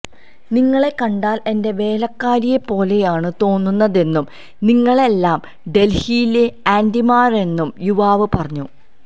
നിങ്ങളെ കണ്ടാല് എന്റെ വേലക്കാരിയെ പോലെയാണ് തോന്നുന്നതെന്നും നിങ്ങളെല്ലാം ഡല്ഹിയിലെ ആന്റിമാരാണെന്നും യുവാവ് പറഞ്ഞു